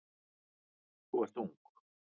Þú ert ung.